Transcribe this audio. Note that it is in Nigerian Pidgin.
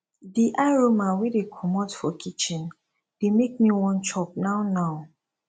di aroma wey dey komot for kitchen dey make me wan chop now now